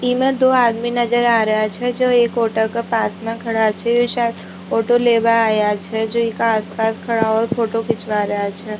इमा दो आदमी नजर आ रेहा छह जो एक औटो का पास मा खड़ा छह जो शायद ऑटो लेबा आया छह जो एका आस पास खड़ा और फोटो खिचवा रेहा छह।